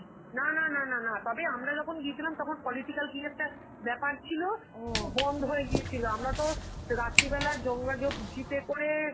না না না না না তবে আমরা যখন গিয়েছিলাম তখন political কি একটা ব্যাপার ছিল, তো বন্ধ হয়ে গিয়েছিল, আমরা তো রাত্রি বেলা জঙ্গা জ~ jeep এ কাের